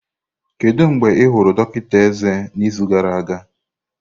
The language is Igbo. Kedu mgbe ị hụrụ dọkịta eze n'izu gara aga?